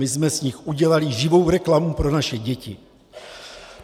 My jsme z nich udělali živou reklamu pro naše děti.